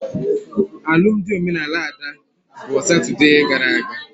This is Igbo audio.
Alụmdi omenala Ada bụ Satode gara aga